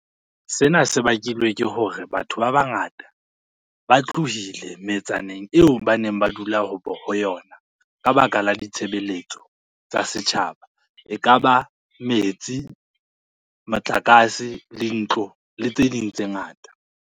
Sena se bakilwe ke hore batho ba bangata ba tlohile metsaneng eo ba neng ba dula ho yona. Ka baka la ditshebeletso tsa setjhaba ekaba metsi, motlakase, di ntlo le tse ding tse ngata.